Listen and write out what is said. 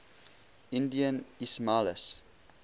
indian ismailis